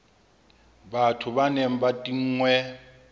batho ba neng ba tinngwe